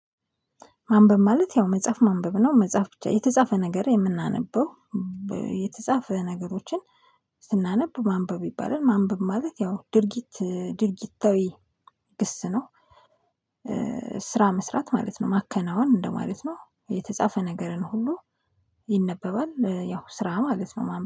ማንበብ ማለት ያው መጽሐፍ ማንበብ ነው መጽሐፍ ብቻ የተጻፈ ነገር የምናነበው የተጻፈ ነገሮችን ስናነብ ማንበብ ይባላል። ማንበብ ማለት ያው ድርጊት ድርጊታዊ ግስ ነው። ስራ መስራት ማለት ነው ማከናወን እንደማለት ነው። የተጻፈ ነገርን ሁሉ ይነበባል ያው ስራ ማለት ነው